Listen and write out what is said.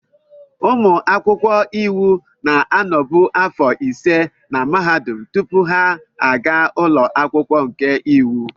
Ụmụ akwụkwọ iwu na-anọbu afọ ise na mahadum tupu ha aga ụlọ akwụkwọ nke iwu.